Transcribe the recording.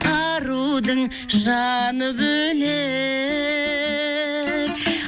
арудың жаны бөлек